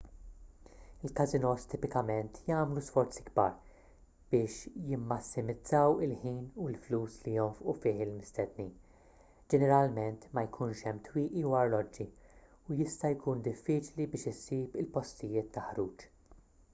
il-każinos tipikament jagħmlu sforzi kbar biex jimmassimizzaw il-ħin u l-flus li jonfqu fih il-mistednin ġeneralment ma jkunx hemm twieqi u arloġġi u jista' jkun diffiċli biex issib il-postijiet ta' ħruġ